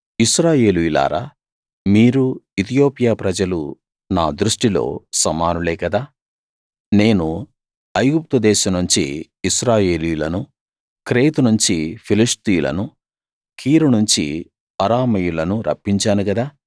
ఇశ్రాయేలీయులారా మీరూ ఇతియోపియా ప్రజలూ నా దృష్టిలో సమానులే గదా నేను ఐగుప్తు దేశం నుంచి ఇశ్రాయేలీయులను క్రేతు నుంచి ఫిలిష్తీయులను కీరు నుంచి అరామీయులనూ రప్పించాను గదా